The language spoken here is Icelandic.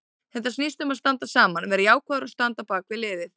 Þetta snýst um að standa saman, vera jákvæður og standa á bakvið liðið.